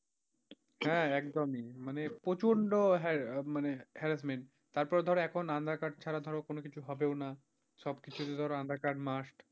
হ্যাঁ একদমই, মানে প্রচন্ড মানে harassment তারপরে ধরো এখন aadhaar card ছাড়া ধরো কোন কিছু হবেও না, সবকিছুতেই ধরো aadhaar card must,